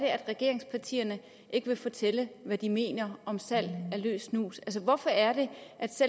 regeringspartierne ikke vil fortælle hvad de mener om salg af løs snus hvorfor er det